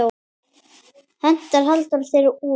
Henti Halldór þér út?